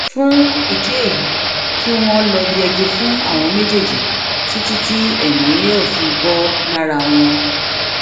fún ìdí èyí kí wọn lọọ yẹgi fún àwọn méjèèjì títí tí èmi yóò fi bò lára wọn